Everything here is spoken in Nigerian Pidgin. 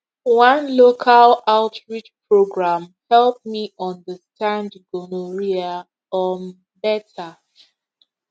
one local outreach program help me understand gonorrhea um better